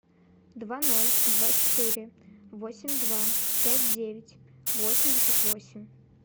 два ноль два четыре восемь два пять девять восемьдесят восемь